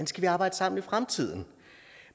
skal arbejde sammen i fremtiden